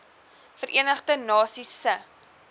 verenigde nasies se